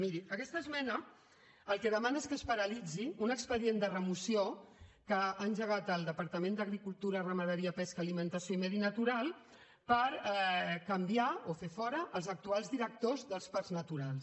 miri aquesta esmena el que demana és que es paralitzi un expedient de remoció que ha engegat el departament d’agricultura ramaderia pesca alimentació i medi natural per canviar o fer fora els actuals directors dels parcs naturals